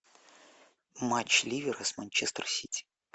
матч ливера с манчестер сити